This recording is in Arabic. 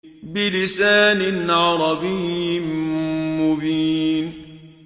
بِلِسَانٍ عَرَبِيٍّ مُّبِينٍ